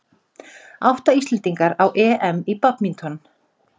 Átta Íslendingar á EM í badminton